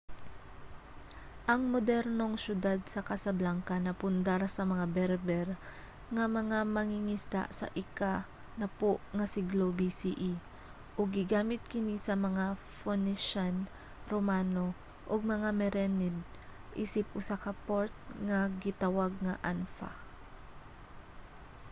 ang modernong syudad sa casablanca napundar sa mga berber nga mga mangingisda sa ika-10 nga siglo bce ug gigamit kini sa mga phoenician romano og mga merenid isip usa ka port nga gitawag nga anfa